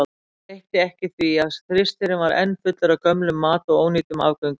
Og breytti ekki því að frystirinn var enn fullur af gömlum mat og ónýtum afgöngum.